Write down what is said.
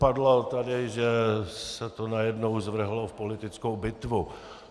Padlo tady, že se to najednou zvrhlo v politickou bitvu.